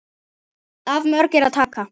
Af mörgu er að taka.